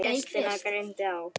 Gestina greindi á.